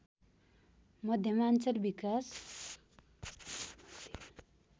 मध्यमाञ्चल विकास